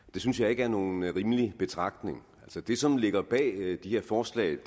det synes jeg ikke er nogen rimelig betragtning det som ligger bag det her forslag